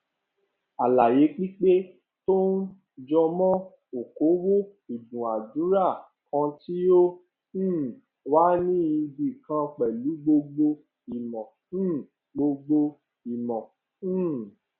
àlàyé pípé tó um jọmọ okòowò ìdúnadúrà kan tí ó um wà ní ibi kan pẹlú gbogbo ìmò um gbogbo ìmò um